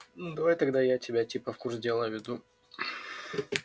ну давай тогда я тебя типа в курс дела введу